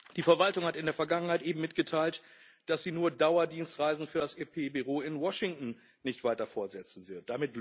Die Verwaltung hat in der Vergangenheit eben mitgeteilt, dass sie nur Dauerdienstreisen für das EP Büro in Washington nicht weiter fortsetzen wird.